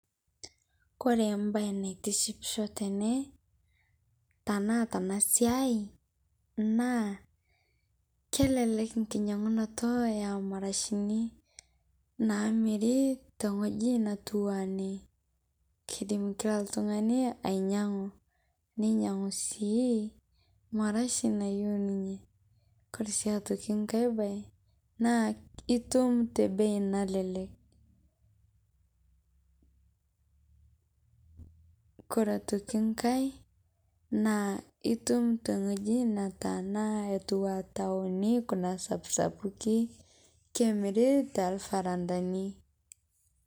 Kore mbai naitishipshoo tenee tanaa tana siai naa kelelek nkinyang'unoto emarashini naamiri teng'oji natuwaa enee keidim kila ltung'ani ainyang'u neinyang'u sii marashi nayeu ninyee kore sii otoki ng'ai bai naa itum te bei nalelek, kore otoki ng'ai naa itum teng'oji nataana atuwaa taoni kuna sapsapukii kemiri telparandani.